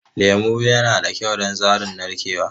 Lemu yana da kyau don tsarin narkewa.